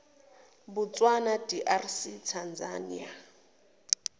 botswana drc tanzania